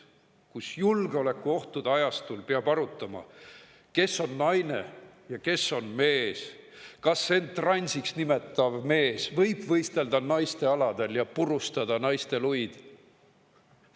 Praegusel julgeolekuohtude ajastul peab arutama, kes on naine ja kes on mees ning kas end transiks nimetav mees võib võistelda naiste aladel ja purustada naiste luid.